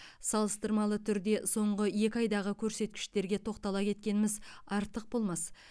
салыстырмалы түрде соңғы екі айдағы көрсеткіштерге тоқтала кеткеніміз артық болмас